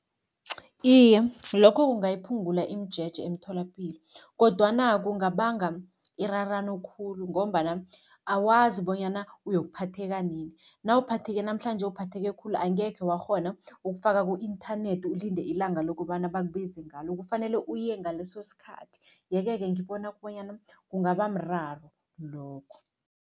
Iye, lokho kungayiphungula imijeje emtholapilo kodwana kungabanga irarano khulu ngombana awazi bonyana uyokuphatheka nini. Nawuphatheke namhlanje, uphatheke khulu, angekhe wakghona ukufaka ku-inthanethi ulinde ilanga lokobana bakubize ngalo, kufanele uye ngaleso sikhathi yeke-ke ngibona bonyana kungabamraro lokho.